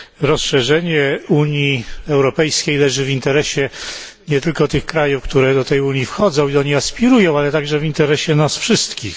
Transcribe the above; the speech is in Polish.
Rozszerzenie Unii Europejskiej leży w interesie nie tylko tych krajów, które do tej Unii wchodzą i do niej aspirują, ale także w interesie nas wszystkich.